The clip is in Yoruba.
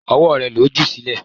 Ọwọ́ rẹ̀ ló jù sílẹ̀.